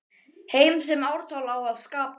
Heim sem ártal á að skapa.